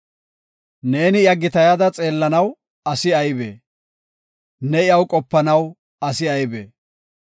Ne iya gitayada xeellanaw asi aybee? Ne iyaw qopanaw asi aybee?